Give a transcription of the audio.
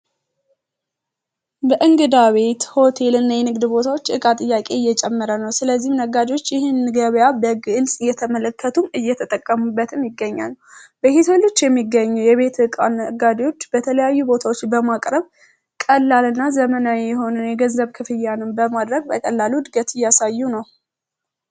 በእንግዳ ቤት ሆቴል እና የንግድ ቦታዎች እቃ ጥያቄ እየጨመረ ነው ስለዚህም ነጋጆች ይህንን ገቢያ በግልጽ እየተመለከቱም እየተጠቀሙበትም ይገኛል። በሄትልች የሚገኙ የቤት እቃ ነጋዴዎች በተለያዩ ቦታዎች በማቅረብ ቀላል እና ዘመናዊ የሆንን የገዘብ ክፍያንም በማድረግ በቀላሉ ድገት እያሳዩ ነው።